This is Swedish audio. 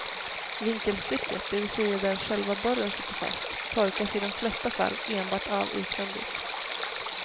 Vinkelstycket, det vill säga där själva borren sitter fast, torkas i de flesta fall enbart av utvändigt.